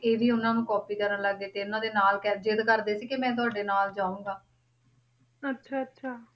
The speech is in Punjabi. ਅੱਛਾ ਅੱਛਾ